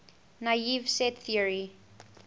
naive set theory